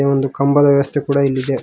ಒಂದು ಕಂಬದ ವ್ಯವಸ್ಥೆ ಕೂಡ ಇಲ್ಲಿ ಇದೆ.